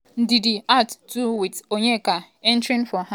ndidi out too wit onyeka entering for am.